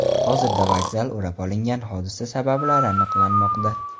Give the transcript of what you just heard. Hozirda vokzal o‘rab olingan, hodisa sabablari aniqlanmoqda.